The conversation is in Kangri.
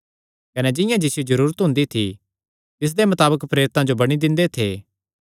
कने जिंआं जिसियो जरूरत हुंदी थी तिसदे मताबक प्रेरितां जो बंडी दिंदे थे